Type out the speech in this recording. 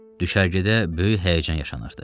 Düşərgədə böyük həyəcan yaşanırdı.